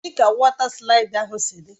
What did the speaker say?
Kedụ ka wọta slaịdị ahụ si dị?